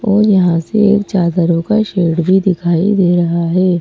और यहां से एक चादरों का शेड भी दिखाई दे रहा है।